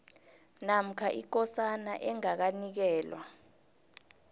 namkha ikosana engakanikelwa